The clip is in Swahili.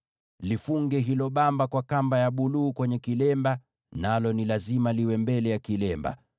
Lifunge hilo bamba kwa kamba ya buluu kwenye kilemba, nalo ni lazima liwe mbele ya kilemba.